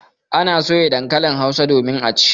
Ana soya dankalin Hausa domin a ci.